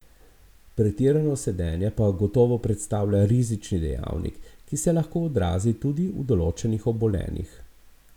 Pretirano sedenje pa gotovo predstavlja rizični dejavnik, ki se lahko odrazi tudi v določenih obolenjih.